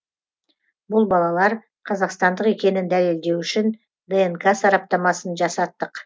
бұл балалар қазақстандық екенін дәлелдеу үшін днқ сараптамасын жасаттық